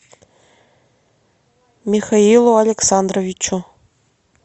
михаилу александровичу